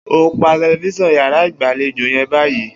O óò pa te̩lifís̩an yàrá ìgbàlejò ye̩n báyìí!